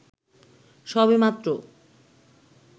সবে মাত্র